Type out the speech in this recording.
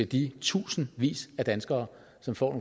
de tusindvis af danskere som får